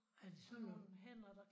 Er det sådan nogen